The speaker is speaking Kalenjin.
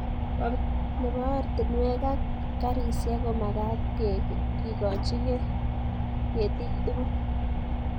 Nebo oratinwek ak garisiek komagat kekoch ketik tugul